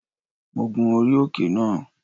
Mo gun orí òkè náà